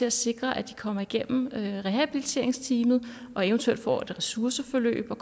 at sikre at de kommer igennem rehabiliteringsteamet og eventuelt får et ressourceforløb og